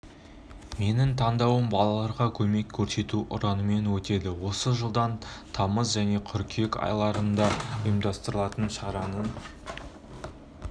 менің таңдауым балаларға көмек көрсету ұранымен өтеді осы жылдың тамыз және қыркүйек айларында ұйымдастырылатын шараның